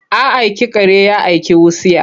A aiki kare ya aiki wutsiya?